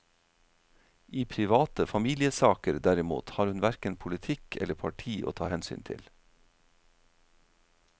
I private familiesaker derimot har hun hverken politikk eller parti å ta hensyn til.